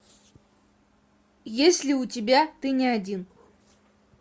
есть ли у тебя ты не один